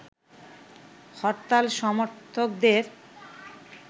হরতাল সমর্থকদের